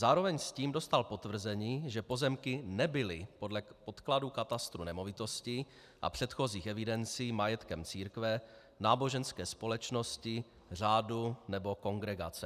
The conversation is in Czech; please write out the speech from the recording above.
Zároveň s tím dostal potvrzení, že pozemky nebyly podle podkladů katastru nemovitostí a předchozích evidencí majetkem církve, náboženské společnosti, řádu nebo kongregace.